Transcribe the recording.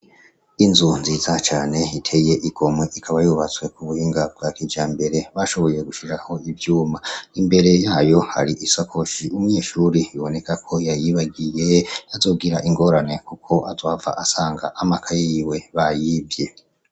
Inzu nziza cane hiteye igomwe ikaba yubatswekubuinga bwa kija mbere bashoboywe gushiraho ivyuma imbere yayo hari isakoshi umwishuri iboneka ko yayibagiye azogira ingorane, kuko azoava asanga amaka yiwe bayibye.